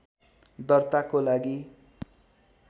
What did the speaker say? दर्ताको लागि